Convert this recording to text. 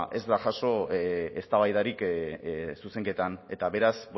ez da paso eztabaidarik zuzenketan eta beraz